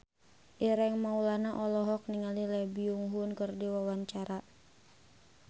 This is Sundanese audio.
Ireng Maulana olohok ningali Lee Byung Hun keur diwawancara